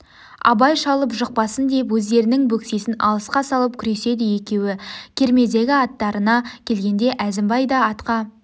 абай шалып жықпасын деп өздерінің бөксесін алысқа салып күреседі екеуі кермедегі аттарына келгенде әзімбай да атқа